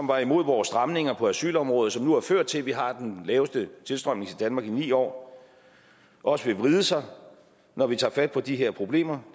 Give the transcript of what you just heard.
var imod vores stramninger på asylområdet som nu har ført til at vi har den laveste tilstrømning til danmark i ni år også vil vride sig når vi tager fat på de her problemer